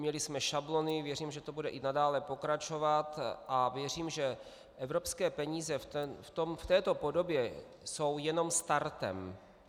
Měli jsme šablony, věřím, že to bude i nadále pokračovat a věřím, že evropské peníze v této podobě jsou jenom startem.